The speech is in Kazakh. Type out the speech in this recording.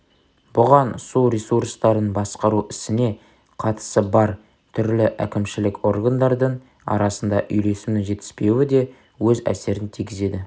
бұған су ресурстарын басқару ісіне қатысы бар түрлі әкімшілік органдардың арасында үйлесімнің жетіспеуі де өз әсерін тигізеді